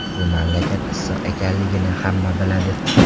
Bu mamlakat issiq ekanligini hamma biladi.